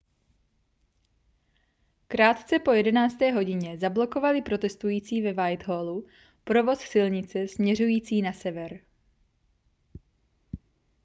krátce po 11. hodině zablokovali protestující ve whitehallu provoz silnice směřující na sever